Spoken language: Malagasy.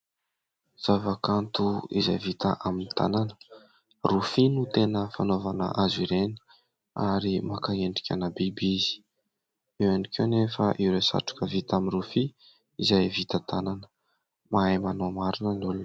Zava-kanto izay vita amin'ny tanana, rofia no tena fanaovana azy ireny ary maka endrika ana biby izy, eo ihany koa anefa ireo satroka vita amin'ny rofia izay vita tanana, mahay manao marina ny olona.